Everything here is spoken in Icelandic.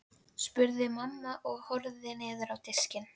spurði mamma og horfði niður á diskinn.